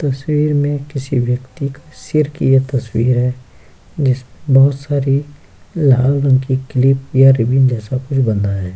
तस्वीर में किसी व्यक्ति का सिर की ये तस्वीर है जिसमें बहुत सारी लाल रंग की क्लिप या रिबन जैसा कुछ बंधा है।